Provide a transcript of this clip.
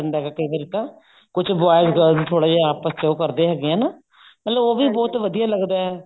ਜਾਂਦਾ ਕਈ ਵਾਰੀ ਤਾਂ ਕੁੱਝ boys girls ਥੋੜਾ ਜਾ ਆਪਸ ਚ ਉਹ ਕਰਦੇ ਹੈਗੇ ਹੈ ਨਾ ਨਾਲੇ ਉਹ ਵੀ ਬਹੁਤ ਵਧੀਆ ਲੱਗਦਾ